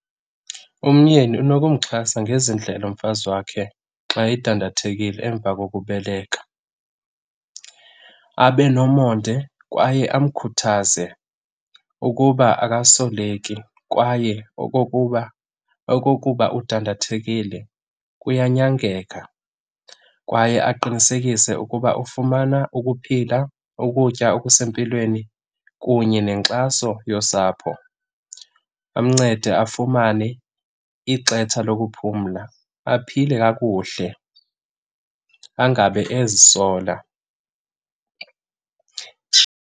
Umyeni unokumxhasa ngezi ndlela umfazi wakhe xa edandathekile emva kokubeleka, abe nomonde kwaye amkhuthaze ukuba akasoleki kwaye okokuba, okokuba udandathekile kuyanyangeka. Kwaye aqinisekise ukuba ufumana ukuphila, ukutya okusempilweni kunye nenkxaso yosapho. Amncede afumane ixetsha lokuphumla, aphile kakuhle angabe ezisola.